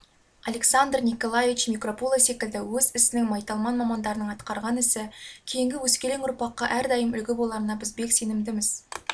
александр николаевич микропуло секілді өз ісінің майталман мамандарының атқарған ісі кейінгі өскелең ұрпаққа әрдайым үлгі боларына біз бек сенімдіміз